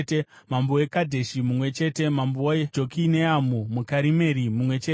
mambo weKadheshi mumwe chete mambo weJokineamu muKarimeri mumwe chete